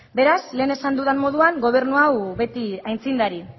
beraz lehen esan dudan moduan gobernu hau beti aitzindari